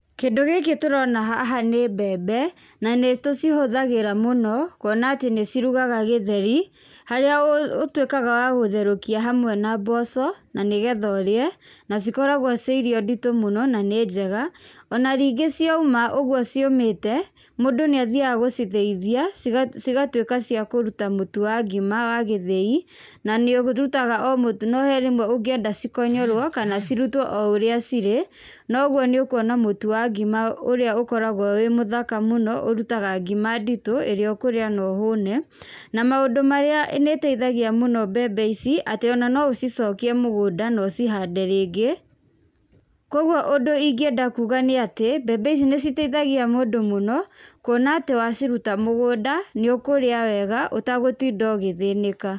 Kĩndũ gĩkĩ tũrona haha nĩ mbembe, na nĩ tucihũthagĩra mũno kuona atĩ nĩ cirugaga gĩtheri harĩa ũtũĩkaga wa gũtherũkia hamwe na mboco, na nĩ getha ũrĩe na cikoragwo cirĩ irio nditũ mũno na nĩ njega. Ona ningĩ cioma ũguo ciũmĩte, mũndũ nĩ athiaga gũcithĩithia, cigatuĩka cia kũruta mũtu wa ngima wa gĩthiĩ, na nĩ ũrutaga o mũtu no he rĩmwe ũngĩenda cikonyorwo kana cirutwo o ũrĩa cirĩ, na ũguo nĩ ũkuona mũtu wa ngima ũrĩa ũkoragwo wĩ mũthaka mũno ũrutaga ngima nditũ ĩrĩa ũkũrĩa na ũhũne, na maũndũ marĩa nĩ ĩteithagia mũno mbembe ici atĩ ona no ũcicokie mũgũnda na ũcihande rĩngĩ, kũguo ũndũ ũyũ ingĩenda kuuga nĩ atĩ mbembe ici nĩ citeithagia mũndũ mũno, kuona atĩ waciruta mũgũnda nĩ ũkũrĩa wega ũtagũtinda ũgĩthĩnĩka.